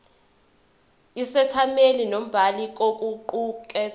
isethameli nombhali kokuqukethwe